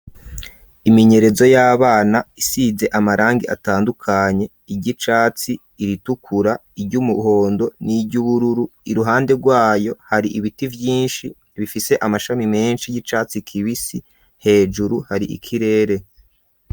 Imenyerezo y'abana isize amarangi atandukanye, iry'icatsi ,iritukura, iry'umuhondo n'iryubururu, iruhande rwayo hari ibiti vyinshi bifise amashami menshi y'icatsi kibisi, hejuru hari ikirere.